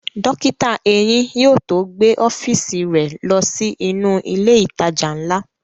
Dókítà eyín yóò tó gbé ọ́fíìsì rẹ̀ ló sí inú ilẹ̀ ìtajà ńlá